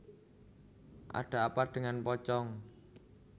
Ada Apa dengan Pocong